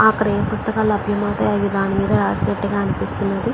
ఆ గ్రీన్ పుస్తకాలు రాసినట్టుగా అనిపిస్తున్నది.